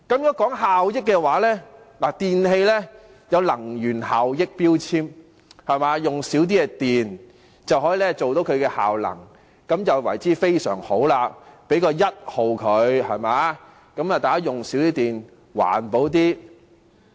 說到效益，電器有能源標籤，耗用較少電力便會有較高的能源效益，這便非常好，可獲得 "1 級"，令大家環保一點，減少用電。